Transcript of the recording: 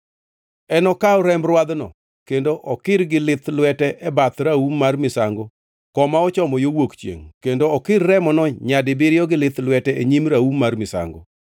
Enokaw remb rwadhno kendo okir gi lith lwete e bath raum mar misango koma ochomo yo wuok chiengʼ kendo okir remono nyadibiriyo gi lith lwete e nyim raum mar misango.